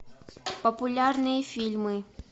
популярные фильмы